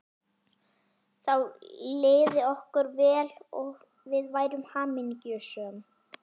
Þá liði okkur vel og við værum hamingjusöm.